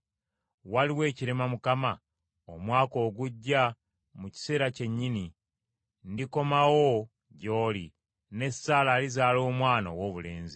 Waliwo ekirema Mukama ? Omwaka ogujja, mu kiseera kyennyini, ndikomawo gy’oli, ne Saala alizaala omwana owoobulenzi.”